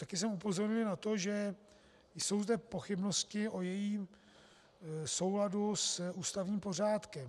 Také jsem upozornil na to, že jsou zde pochybnosti o jejím souladu s ústavním pořádkem.